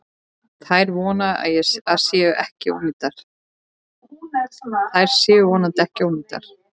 Þær séu vonandi ekki ónýtar.